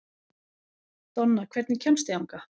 Donna, hvernig kemst ég þangað?